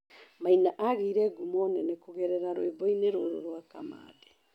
Maina agĩire ngumo nene kũgerera rwĩmboinĩ rũrũ rwa Kamande.